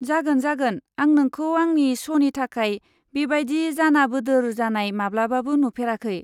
जागोन जागोन, आं नोंखौ आंनि श 'नि थाखाय बेबादि जानाबोदोर जानाय माब्लाबाबो नुफेराखै।